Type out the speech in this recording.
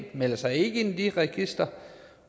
melder sig ikke ind i det register